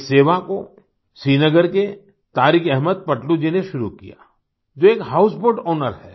इस सेवा को श्रीनगर के तारिक अहमद पटलू जी ने शुरू किया जो एक हाउसबोट आउनर हैं